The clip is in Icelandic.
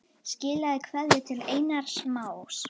Skilaðu kveðju til Einars Más.